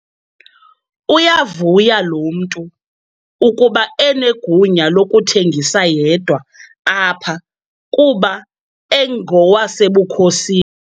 Uyavuya lo mntu ukuba unegunya lokuthengisa yedwa apha kuba engowasebukhosi.